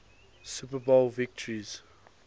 super bowl victories